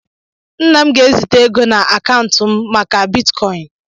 Nna m ga ezite égo na akaụntu m maka Bịtkọin